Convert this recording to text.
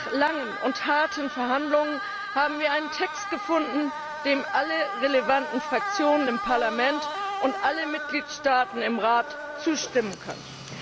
Aber nach langen und harten Verhandlungen haben wir einen Text gefunden, dem alle relevanten Fraktionen im Parlament und alle Mitgliedstaaten im Rat zustimmen können.